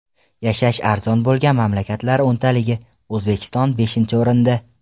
Yashash arzon bo‘lgan mamlakatlar o‘ntaligi: O‘zbekiston beshinchi o‘rinda.